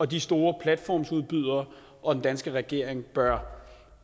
de store platformsudbydere og den danske regering bør